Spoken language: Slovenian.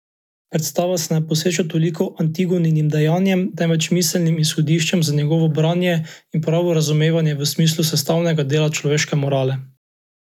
Predstava se ne posveča toliko Antigoninim dejanjem, temveč miselnim izhodiščem za njegovo branje in pravo razumevanje v smislu sestavnega dela človeške morale.